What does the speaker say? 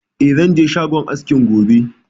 Eh, zan je shagon askin gobe